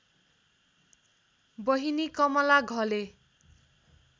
बहिनी कमला घले